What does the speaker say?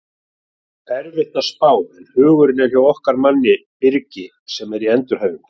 Erfitt að spá en hugurinn er hjá okkar manni Birki sem í endurhæfingu.